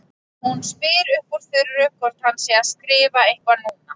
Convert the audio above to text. Hún spyr upp úr þurru hvort hann sé að skrifa eitthvað núna.